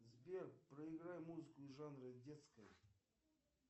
сбер проиграй музыку из жанра детская